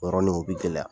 Yɔrɔnin o bɛ gɛlɛya